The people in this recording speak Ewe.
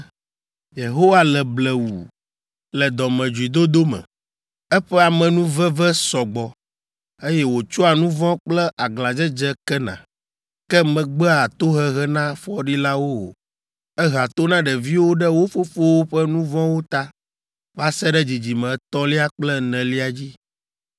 ‘Yehowa le blewu le dɔmedzoedodo me, eƒe amenuveve sɔ gbɔ, eye wòtsɔa nu vɔ̃ kple aglãdzedze kena. Ke megbea tohehe na fɔɖilawo o. Ehea to na ɖeviwo ɖe wo fofowo ƒe nu vɔ̃wo ta va se ɖe dzidzime etɔ̃lia kple enelia dzi.’